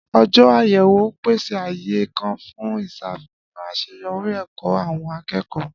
Ọjọ àyẹ̀wò n pèsè ààyè kàn fún ìsàfihàn aseyori èkó àwọn akékòó